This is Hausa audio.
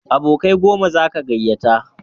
Abokai goma zaka gayyata